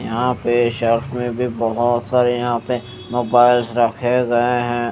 यहा पे शॉप में भी बहोत सारे यहा पे मोबाइल रखे हुए है।